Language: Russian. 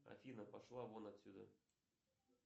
афина пошла вон отсюда